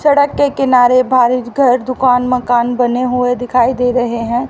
सड़क के किनारे भारी घर दुकान मकान बने हुए दिखाई दे रहे हैं।